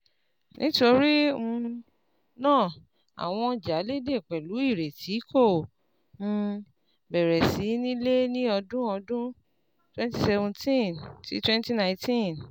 Nítorí um náà, àwọn ọjà léde pẹ̀lú ìrètí kò um béẹrè sí nílẹ̀ ní ọdún ọdún twenty seventeen - twenty nineteen.